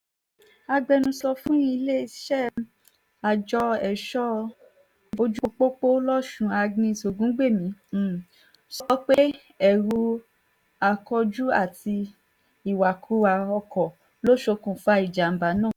agbẹnusọ fún iléeṣẹ́ àjọ ẹ̀ṣọ́-ojúpọ́pọ́ lòsùn agnès ògúngbẹ̀mí um sọ pé ẹrú akójú àti um ìwàkuwà ọkọ̀ ló ṣokùnfà ìjàḿbà náà